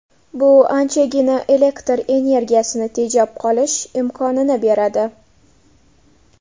Bu anchagina elektr energiyasini tejab qolish imkonini beradi.